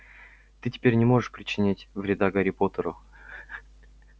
ты теперь не можешь причинить вреда гарри поттеру